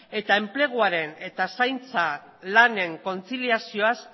eta enpleguaren eta zaintza lanen kontziliazioaz